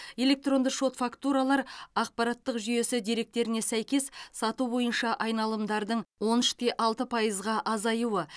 электронды шот фактуралар ақпараттық жүйесі деректеріне сәйкес сату бойынша айналымдардың он үш те алты пайызға азаюы